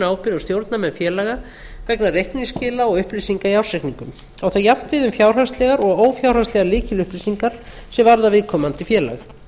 ábyrgð á stjórnarmenn félaga vegna reikningsskila og upplýsinga í ársreikningum á það jafnt við um fjárhagslegar og ófjárhagslegar lykilupplýsingar sem varða viðkomandi félag